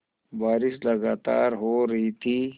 बारिश लगातार हो रही थी